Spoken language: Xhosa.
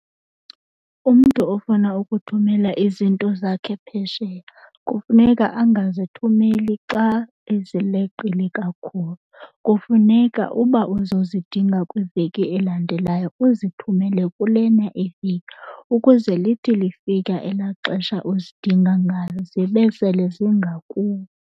Umntu ofuna ukuthumela izinto zakhe phesheya kufuneka angazithumeli xa ezileqile kakhulu. Kufuneka uba uzozidinga kwiveki elandelayo uzithumele kulena iveki ukuze lithi lifika elaa xesha uzidinga ngalo zibe sele zingakuwe.